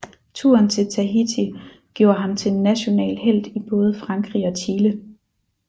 Turen til Tahiti gjorde ham til en national helt i både Frankrig og Chile